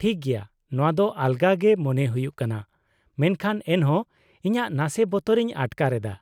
-ᱴᱷᱤᱠ ᱜᱮᱭᱟ, ᱱᱚᱶᱟ ᱫᱚ ᱟᱞᱜᱟ ᱜᱮ ᱢᱚᱱᱮ ᱦᱩᱭᱩᱜ ᱠᱟᱱᱟ ᱢᱮᱱᱠᱷᱟᱱ ᱮᱱᱦᱚᱸ ᱤᱧᱟᱹᱜ ᱱᱟᱥᱮ ᱵᱚᱛᱚᱨ ᱤᱧ ᱟᱴᱠᱟᱨ ᱮᱫᱟ ᱾